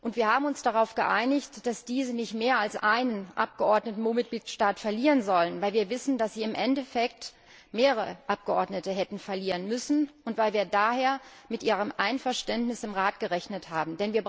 Wir haben uns darauf geeinigt, dass diese nicht mehr als einen Abgeordneten pro Mitgliedstaat verlieren sollen, weil wir wissen, dass sie im Endeffekt mehrere Abgeordnete hätten verlieren müssen, und weil wir daher mit ihrem Einverständnis im Rat gerechnet haben.